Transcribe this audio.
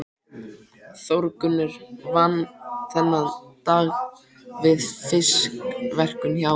Þórgunnur vann þennan dag við fiskverkun hjá